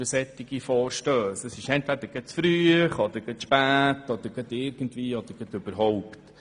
Entweder ist es zu früh oder zu spät oder sonst irgendwie falsch.